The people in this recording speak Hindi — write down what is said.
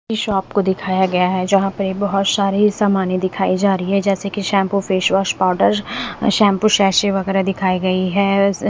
ये शॉप को दिखाया गया है यहां पे बहुत सारे सामानें दिखाई जा रही हैं जैसे कि shampoo face wash powder shampoo sachet वगैरह दिखाई गई है स--